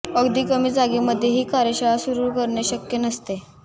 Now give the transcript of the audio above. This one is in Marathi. अगदी कमी जागेमध्ये ही कार्यशाळा सुरू करणे शक्य नसते